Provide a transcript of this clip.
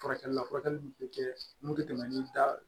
Furakɛli la furakɛli bɛ kɛ mun tɛ tɛmɛ ni da